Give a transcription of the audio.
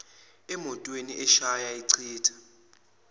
emotweni ashaya achitha